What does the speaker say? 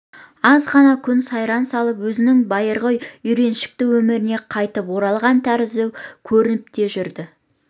аз ғана күн сайран салып өзінің байырғы үйреншікті өміріне қайтып оралған тәрізді көрініп те жүрді